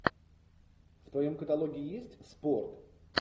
в твоем каталоге есть спорт